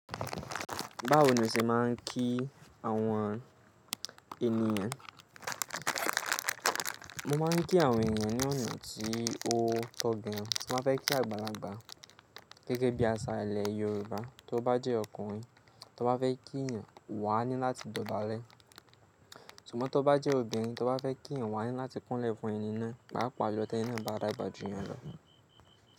Báwo ni o ṣe máa ń kí àwọn ènìyàn? Mo máa ń kí àwọn ènìyàn ní ọ̀nà tí ó tọ́ gbẹyàn. Mo máa fẹ́ kí àgbàlagbà gẹ́gẹ́ bí àṣà ilẹ̀ Yorùbá. Tí ó bá jẹ́ ọkùnrin tí ó bá fẹ́ kí ènìyàn, wà á ní láti dọ̀bálẹ̀. Ṣùgbọ́n tí ó bá jẹ́ obìnrin tí ó bá fẹ́ kí ènìyàn, wà á ní láti kúnlẹ̀ fún ẹni náà, pàápàá lọ tí ẹni náà bá dàgbà jù yín lọ.